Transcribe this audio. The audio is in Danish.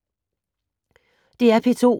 DR P2